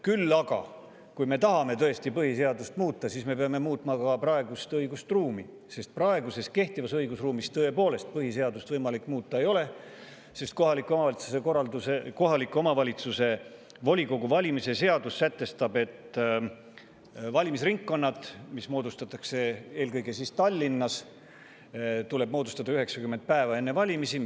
Küll aga, kui me tõesti tahame põhiseadust muuta, siis me peame muutma praegust õigusruumi, sest kehtivas õigusruumis põhiseadust tõepoolest ei ole võimalik muuta, kuna kohaliku omavalitsuse volikogu valimise seadus sätestab, et valimisringkonnad, mis moodustatakse eelkõige Tallinnas, tuleb moodustada 90 päeva enne valimisi.